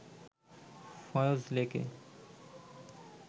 ফয়স লেকে